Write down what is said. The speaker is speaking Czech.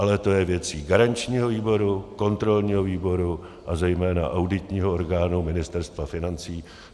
Ale to je věcí garančního výboru, kontrolního výboru a zejména auditního orgánu Ministerstva financí.